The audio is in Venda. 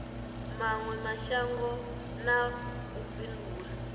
mawe mashango na u bindula